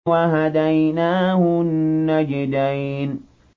وَهَدَيْنَاهُ النَّجْدَيْنِ